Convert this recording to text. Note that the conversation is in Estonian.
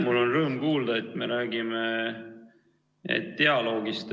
Mul oli rõõm kuulda, et me räägime dialoogist.